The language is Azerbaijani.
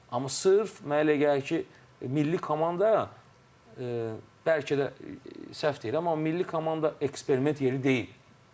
Amma sırf mənə elə gəlir ki, milli komanda bəlkə də səhv deyirəm, amma milli komanda eksperiment yeri deyil.